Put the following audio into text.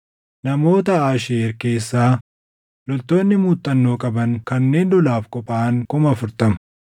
namoota Aasheer keessaa loltoonni muuxannoo qaban kanneen lolaaf qophaaʼan 40,000;